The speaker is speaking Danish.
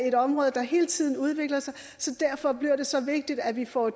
et område der hele tiden udvikler sig så derfor bliver det så vigtigt at vi får